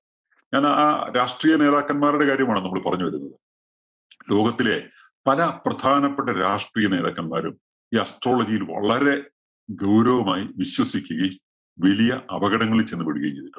ഞാനാ ആ രാഷ്ട്രീയ നേതാക്കൻമാരുടെ കാര്യമാണ് നമ്മള് പറഞ്ഞു വരുന്നത്. ലോകത്തിലെ പല പ്രധാനപ്പെട്ട രാഷ്ട്രീയ നേതാക്കന്മാരും ഈ astrology യില്‍ വളരെ ഗൗരവമായി വിശ്വസിക്കുകയും, വലിയ അപകടങ്ങളില്‍ ചെന്ന് പെടുകയും ചെയ്തിട്ടുണ്ട്.